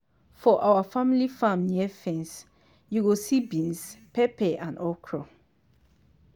for our family farm near fence you go see beans pepper and okro.